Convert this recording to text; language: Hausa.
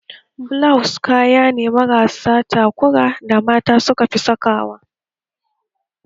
Bilaws kaya ne marasa takura da mata suka fi saka wa